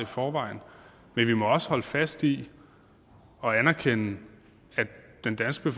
forvejen men vi må også holde fast i og anerkende at den danske